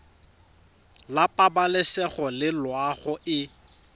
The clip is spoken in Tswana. la pabalesego le loago e